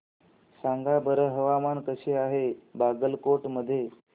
सांगा बरं हवामान कसे आहे बागलकोट मध्ये